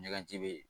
Ɲagaji be yen